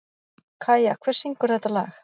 Kæja, hver syngur þetta lag?